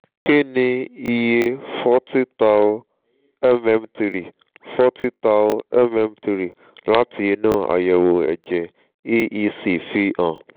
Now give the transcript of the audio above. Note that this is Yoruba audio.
kí ni iye forty thou/mm three forty thou/mm three láti ińú àyẹ̀wò ẹ̀jẹ̀ aec fi hàn?